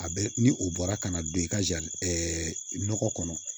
A bɛ ni o bɔra ka na don i ka ɛ nɔgɔ kɔnɔ